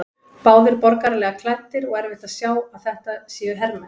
Báðir borgaralega klæddir og erfitt að sjá að þetta séu hermenn.